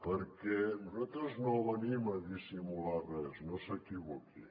perquè nosaltres no venim a dissimular res no s’equivoqui